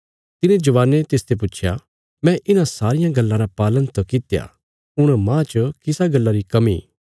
तिने जवाने तिसते पुच्छया मैं इन्हां सारियां गल्लां रा पालन त कित्या हुण मांह च किसा गल्ला री कमी